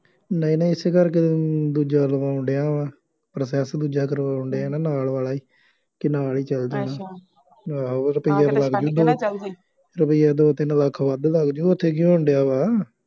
ਨਹੀਂ ਨਹੀਂ ਇਸੇ ਕਰਕੇ ਤਾਂ ਦੂਜਾ ਲਵਾਉਣ ਡਿਆ ਵਾਂ process ਦੂਜਾ ਕਰਵਾਉਣ ਡਿਆਂ ਨਾ ਨਾਲ ਵਾਲਾ ਹੀ, ਕਿ ਨਾਲ ਹੀ ਚੱਲ ਜਾਣਾ, ਆਂਹੋ ਰੁਪਇਆ ਤਾਂ ਲੱਗ ਜੂ ਦੋ ਰੁਪਇਆ ਦੋ ਤਿੰਨ ਲੱਖ ਵੱਧ ਲੱਗ ਜੂ ਉੱਥੇ ਕੀ ਹੋਣ ਡਿਆ ਵਾ,